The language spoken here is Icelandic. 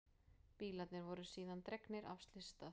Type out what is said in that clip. Bílarnir voru síðan dregnir af slysstað